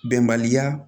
Bɛnbaliya